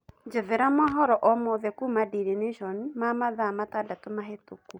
njethera mohoro o mothe kũma daily nation ma mathaa matandatu mahituku